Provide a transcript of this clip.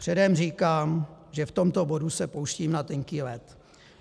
Předem říkám, že v tomto bodu se pouštím na tenký led.